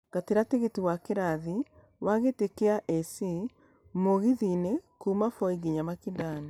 Ngatĩra tigĩti wa kĩrathi ya gĩtĩ kia a.c mũgithi-inĩ kuuma Voi nginya mikindani